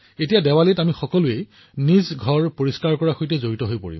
এতিয়া দীপাৱলীত আমি সকলোৱে আমাৰ ঘৰ পৰিষ্কাৰ কৰা কামত জড়িত হবলৈ গৈ আছো